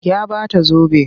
Ya ba ta zobe.